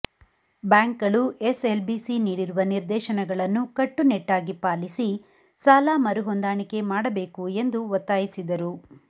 ಬ್ಯಾಂಕ್ಗಳು ಎಸ್ಎಲ್ಬಿಸಿ ನೀಡಿರುವ ನಿರ್ದೇಶನಗಳನ್ನು ಕಟ್ಟುನಿಟ್ಟಾಗಿ ಪಾಲಿಸಿ ಸಾಲ ಮರುಹೊಂದಾಣಿಕೆ ಮಾಡಬೇಕು ಎಂದು ಒತ್ತಾಯಿಸಿದರು